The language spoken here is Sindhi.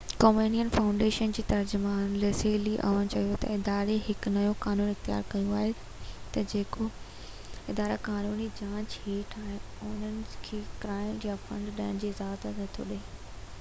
ڪومين فائونڊيشن جي ترجمان ليسلي عون چيو تہ اداري هڪ نئو قانون اختيار ڪيو آهي تہ جيڪي ادارا قانوني جاچ هيٺ آهن انهن کي گرانٽ يا فنڊ ڏيڻ جي اجازت نٿو ڏي